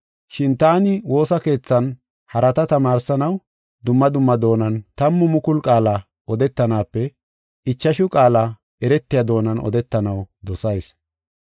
Shin taani woosa keethan harata tamaarsanaw dumma dumma doonan tammu mukulu qaala odetanaape ichashu qaala eretiya doonan odetanaw dosayis.